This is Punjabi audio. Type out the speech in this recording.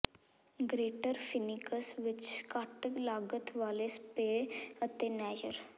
ਗ੍ਰੇਟਰ ਫੀਨਿਕਸ ਵਿੱਚ ਘੱਟ ਲਾਗਤ ਵਾਲੇ ਸਪੇਅ ਅਤੇ ਨੈਯਰ